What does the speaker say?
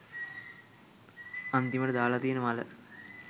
අන්තිමට දාල තියන මල